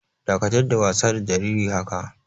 Dakatar da wasa da jariri haka!